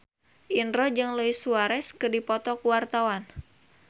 Indro jeung Luis Suarez keur dipoto ku wartawan